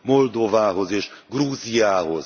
Moldovához és Grúziához.